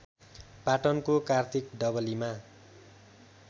पाटनको कार्तिक डबलीमा